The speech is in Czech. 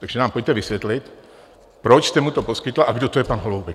Takže nám pojďte vysvětlit, proč jste mu to poskytl a kdo to je pan Holoubek.